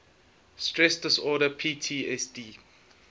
stress disorder ptsd